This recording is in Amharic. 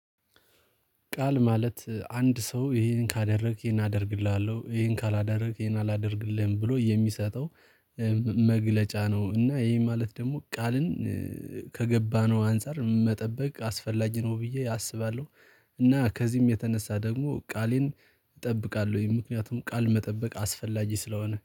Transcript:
ቃል ማለት አንድ ሰው ይሄን ካደረግህ ይሄን አደርግልሃለው ይሄን ካላደረግህ ይሄን አላደርግልህም ብሎ የሚሰጠው መግለጫ ነው። እና ይሄ ማለት ደግሞ ቃልን ከገባነው አንፃር መጠበቅ አስፈላጊ ነው ብዬ አስባለሁ። እና ከዚህም የተነሳ ደግሞ ቃሌን እጠብቃለሁኝ። ምክንያቱም ቃል መጠበቅ አስፈላጊ ስለሆነ